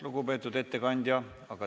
Lugupeetud ettekandja!